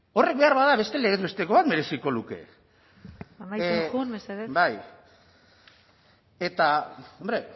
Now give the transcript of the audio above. horrek beharbada beste legez besteko bat mereziko luke amaitzen joan mesedez bai eta hombre